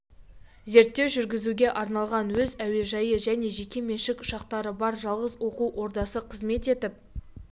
зерттеу жүргізуге арналған өз әуежайы және жеке меншік ұшақтары бар жалғыз оқу ордасы қызмет етіп